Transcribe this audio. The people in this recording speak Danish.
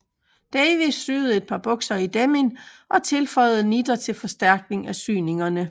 Davis syede et par bukser i denim og tilføjede nitter til forstærkning af syningerne